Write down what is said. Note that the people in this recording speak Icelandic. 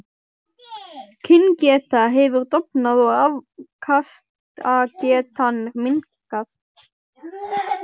Kyngeta hefur dofnað og afkastagetan minnkað.